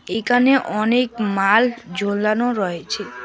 এইকানে অনেক মাল ঝোলানো রয়েছে।